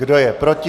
Kdo je proti?